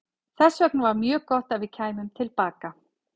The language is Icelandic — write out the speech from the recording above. Þess vegna var mjög gott að við kæmum til baka.